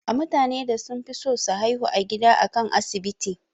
A mutanen da sunfison su haihu a gida akan a asibiti